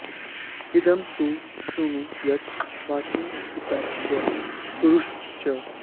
इदं तु श्र्णु यत् वच्मि हितं तव कुरुष्व च